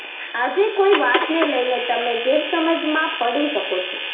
આજે કોઈ વાત ને લઈને તમે ગેરસમજ માં પડી શકો છો